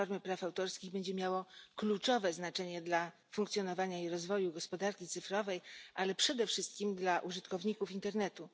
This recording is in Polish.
reformy praw autorskich będzie miało kluczowe znaczenie dla funkcjonowania i rozwoju gospodarki cyfrowej, ale przede wszystkim dla użytkowników internetu.